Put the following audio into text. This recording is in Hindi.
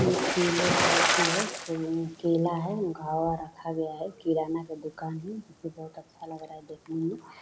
ये केला का एथी है केला है घवद रखा गया है किराना का दुकान है जो की बहुत अच्छा लग रहा है देखने में।